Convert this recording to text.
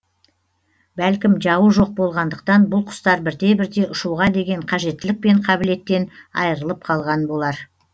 бәлкім жауы жоқ болғандықтан бұл құстар бірте бірте ұшуға деген қажеттілік пен қабілеттен айырылып қалған болар